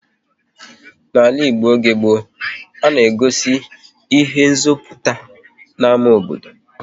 N'ala Igbo oge gboo, a na-egosi ihe nziputa n'ámá obodo